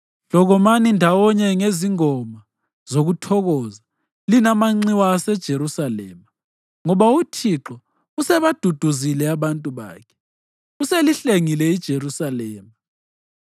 Hlokomani ndawonye ngezingoma zokuthokoza, lina manxiwa aseJerusalema, ngoba uThixo usebaduduzile abantu bakhe, uselihlengile iJerusalema.